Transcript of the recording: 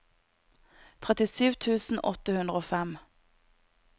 trettisju tusen åtte hundre og fem